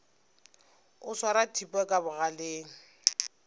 o swara thipa ka bogaleng